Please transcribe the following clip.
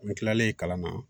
N kilalen kalan na